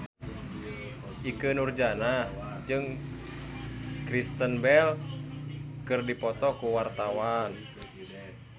Ikke Nurjanah jeung Kristen Bell keur dipoto ku wartawan